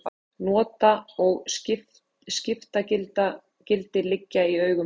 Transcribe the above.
nota og skiptagildi liggja í augum uppi